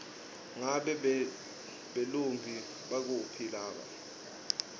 ngabe belumbi baphuma kuphi